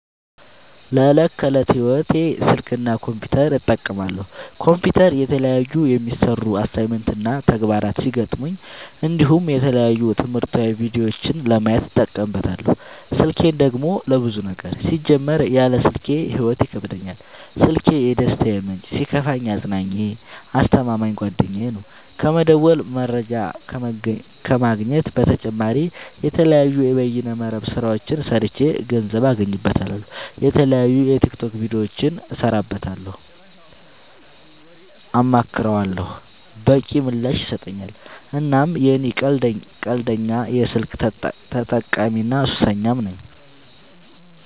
ለዕት ከዕለት ህይወቴ ስልክ እና ኮምፒውተር እጠቀማለሁ። ኮምፒውተር የተለያዩ የሚሰሩ አሳይመንት እና ተግባራት ሲገጥሙኝ እንዲሁም የተለያዩ ትምህርታዊ ቪዲዮዎችን ለማየት እጠቀምበታለው። ስልኬን ደግሞ ለብዙ ነገር ሲጀመር ያለ ስልኬ ህይወት ይከብደኛል። ስልኪ የደስታዬ ምንጭ ሲከፋኝ አፅናኜ አስተማማኝ ጓደኛዬ ነው። ከመደወል መረጃ ከመግኘት በተጨማሪ የተለያዩ የበይነ መረብ ስራዎችን ሰርቼ ገንዘብ አገኝበታለሁ። የተለያዩ የቲክቶክ ቪዲዮዎችን እሰራበታለሁ አማክረዋለሁ። በቂ ምላሽ ይሰጠኛል እናም እኔ ቀንደኛ የስልክ ተጠቀሚና ሱሰኛም ነኝ።